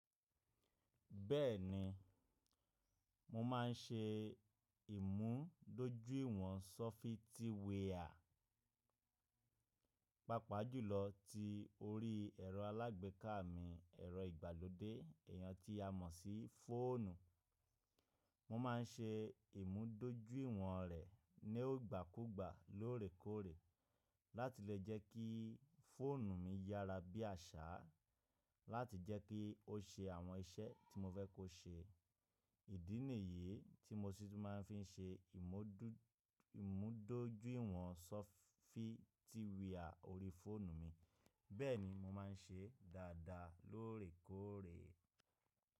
Bẹ́ẹ̀ni, mo máa ń ṣe ìmúdójúìwọ̀n sọfitíwia pàápàá jùlọ tí orí ẹ̀rọ alágbèéká mi, ẹ̀rọ ìgbàlódé, iyàn tí a mọ̀ sí fóònù. Mo ma ń ṣe ìmúdójúìwọ̀n rẹ̀ ní ogbàkúgbà lóòrèkóòrè láti lè jẹ́ kí fóònù mi yára bí àṣá láti jẹ́ kí ó ṣe àwọn iṣẹ́ tí mo fẹ́ kó ṣe. Ìdí nìyí tí mo sì tún máa ń fi ṣe ìmúdójúìwọ̀n sọfitíwia orí fóònù mi, bẹ́ẹ̀ni mo máa ń ṣe dáadáa lóòrèkóòrè.